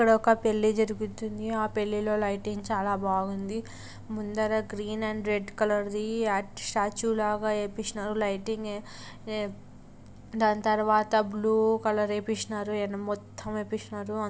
ఇక్కడొక పెళ్లి జరుగుతుంది. ఆ పెళ్లిలో లైటింగ్ చాలా బాగుంది ముందర green and red colour the statue లాగా వేపిచినారు లైటింగ్ ఏ-ఏ దాని తర్వాత బ్లూ కలర్ వేపిచినారు మొత్తం వేపిచ్చినారు---